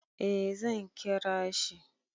Eh zan kira shi.